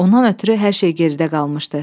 Ondan ötrü hər şey geridə qalmışdı.